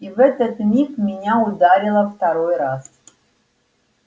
и в этот миг меня ударило второй раз